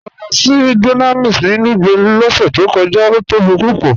Mọ́ lọ sí Dunamis ni Lugbe lọ́sẹ̀ tó kọja, ó tóbi púpọ̀.